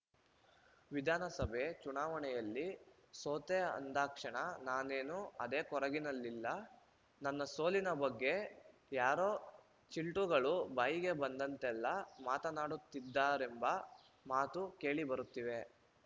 ವಿಧಾನಸಭೆ ಚುನಾವಣೆಯಲ್ಲಿ ಸೋತೆ ಅಂದಾಕ್ಷಣ ನಾನೇನು ಅದೇ ಕೊರಗಿನಲ್ಲಿಲ್ಲ ನನ್ನ ಸೋಲಿನ ಬಗ್ಗೆ ಯಾರೋ ಚಿಲ್ಟುಗಳು ಬಾಯಿಗೆ ಬಂದಂತೆಲ್ಲಾ ಮಾತನಾಡುತ್ತಿದ್ದಾರೆಂಬ ಮಾತು ಕೇಳಿ ಬರುತ್ತಿವೆ